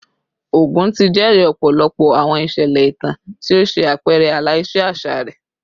Ogun ti jẹri ọpọlọpọ awọn iṣẹlẹ itan ti o ṣe apẹrẹ ala-ilẹ aṣa rẹ